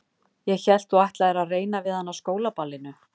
Ég hélt að þú ætlaðir að reyna við hana á skólaballinu